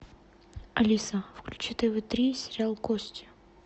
алиса включи тв три сериал кости